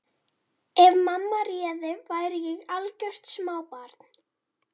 Ef mamma réði væri ég algjört smábarn.